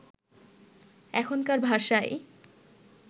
এখনকার ভাষায়